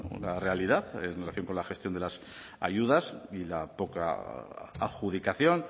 una realidad en relación con la gestión de las ayudas y la poca adjudicación